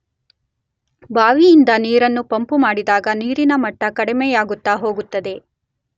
ಬಾವಿಯಿಂದ ನೀರನ್ನು ಪಂಪು ಮಾಡಿದಾಗ ನೀರಿನ ಮಟ್ಟ ಕಡಿಮೆಯಾಗುತ್ತ ಹೋಗುತ್ತದೆ.